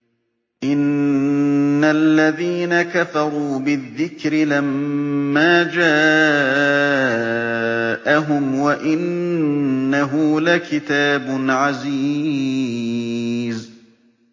إِنَّ الَّذِينَ كَفَرُوا بِالذِّكْرِ لَمَّا جَاءَهُمْ ۖ وَإِنَّهُ لَكِتَابٌ عَزِيزٌ